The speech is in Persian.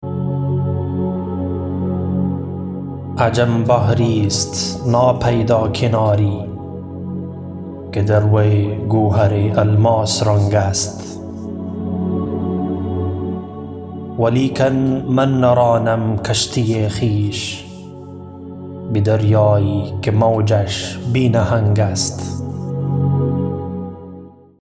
عجم بحریست ناپیدا کناری که در وی گوهر الماس رنگ است ولیکن من نرانم کشتی خویش به دریایی که موجش بی نهنگ است